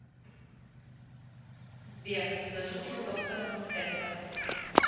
сбер сожитель доктор манхэттан